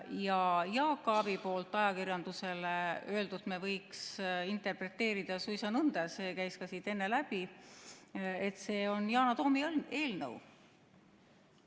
Ja seda, mida Jaak Aab on ajakirjandusele öelnud, me võiks interpreteerida suisa nõnda – see käis ka siit enne läbi –, et see on Yana Toomi eelnõu.